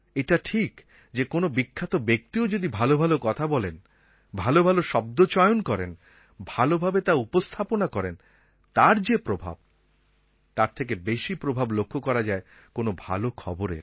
এটা ঠিক যে কোনো বিখ্যাত ব্যক্তিও যদি ভালো ভালো কথা বলেন ভালো ভালো শব্দ চয়ন করেন ভালোভাবে তা উপস্থাপনা করেন তার যে প্রভাব তার থেকে বেশি প্রভাব লক্ষ্য করা যায় কোনো ভালো খবরের